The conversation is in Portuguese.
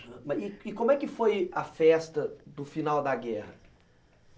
E e como é que foi a festa do final da guerra?